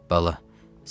Bala.